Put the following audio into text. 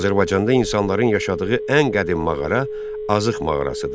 Azərbaycanda insanların yaşadığı ən qədim mağara Azıq mağarasıdır.